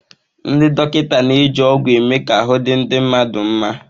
Ndị dọkịta na-eji ọgwụ eme ka ahụ́ di ndị mmadụ nma.